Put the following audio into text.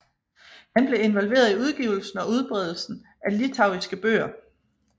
Han blev involveret i udgivelsen og udbredelsen af litauiske bøger